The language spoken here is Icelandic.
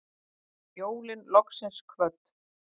Jólin loksins kvödd